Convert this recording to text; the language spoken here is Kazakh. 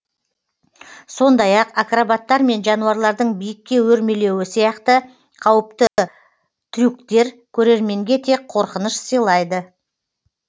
сондай ақ акробаттар мен жануарлардың биікке өрмелеуі сияқты қауіпті тюрктер көрерменге тек қорқыныш сыйлайды